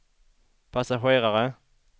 passagerare